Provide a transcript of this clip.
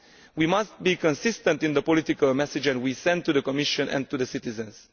We must be consistent in the political message we send to the Commission and to citizens.